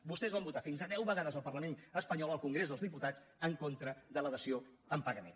vostès van vo·tar fins a deu vegades al parlament espanyol al con·grés dels diputats en contra de la dació en pagament